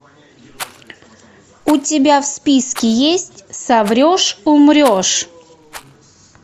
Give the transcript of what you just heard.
у тебя в списке есть соврешь умрешь